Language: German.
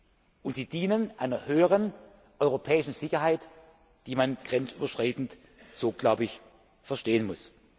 Und diese Nachrüstungen dienen einer höheren europäischen Sicherheit, die man grenzüberschreitend so glaube ich verstehen muss.